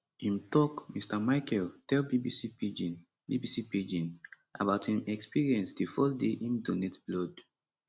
im tok mr michael tell bbc pidgin bbc pidgin about im experience di first day im donate blood